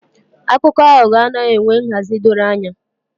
Akụkọ aghụghọ anaghị enwe nhazi dọrọ anya